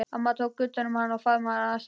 Amma tók utan um hann og faðmaði hann að sér.